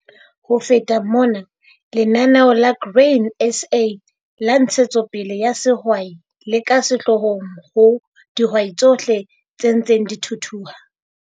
Ho feta mona, Lenaneo la Grain SA la Ntshetsopele ya Sehwai le ka sehloohong ho dihwai TSOHLE tse ntseng di thuthuha.